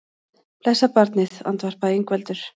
Blessað barnið, andvarpaði Ingveldur.